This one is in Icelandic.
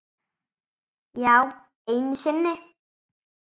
Já, einu sinni.